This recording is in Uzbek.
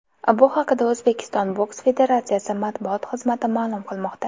Bu haqida O‘zbekiston boks federatsiyasi matbuot xizmati ma’lum qilmoqda .